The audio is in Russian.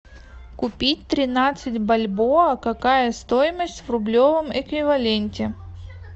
купить тринадцать бальбоа какая стоимость в рублевом эквиваленте